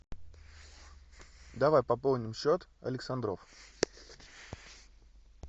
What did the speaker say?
давай пополним счет александров